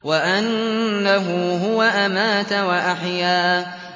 وَأَنَّهُ هُوَ أَمَاتَ وَأَحْيَا